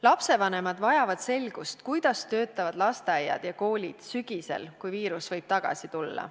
Lapsevanemad vajavad selgust, kuidas töötavad lasteaiad ja koolid sügisel, kui viirus võib tagasi tulla.